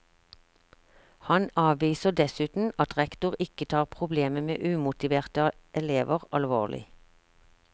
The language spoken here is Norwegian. Han avviser dessuten at rektor ikke tar problemet med umotiverte elever alvorlig.